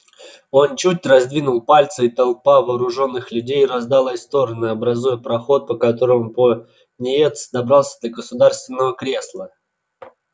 он чуть раздвинул пальцы и толпа вооружённых людей раздалась в стороны образуя проход по которому пониетс добрался до государственного кресла